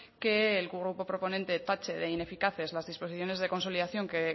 que el grupo proponente tache de ineficaces las disposiciones de consolidación que